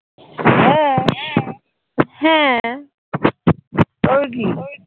হ্যাঁ হ্যাঁ তবে কি